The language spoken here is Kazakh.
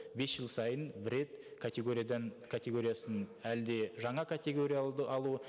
бес жыл сайын бір рет категориядан категориясын әлде жаңа категория алу